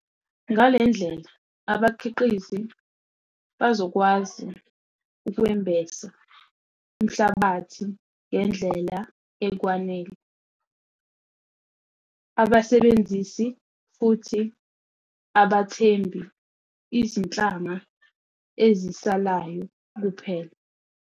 Ngale ndlela abakhiqizi bazokwazi ukwembesa umhlabathi ngendlela ekwanele, abasebenzisi futhi abathembi izinhlanga ezisalayo kuphela.